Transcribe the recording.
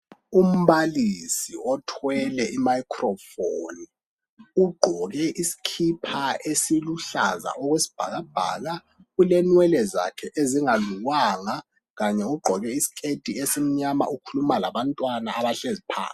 Umbalisi othwele i 'microphone', ugqoke isikhipha esiluhlaza okwesibhakabhaka, ulenwelwe zakhe ezingalukwanga, kanye ugqoke isikhethi esimnyama ukhuluma labantwana abahlezi phansi.